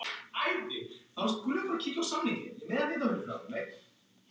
Elma og Jón Einar skildu.